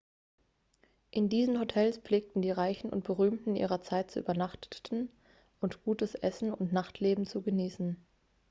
in diesen hotels pflegten die reichen und berühmten ihrer zeit zu übernachteten und gutes essen und nachtleben zu genießen